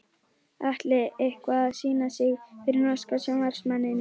Atli eitthvað að sýna sig fyrir norska sjónvarpsmanninum?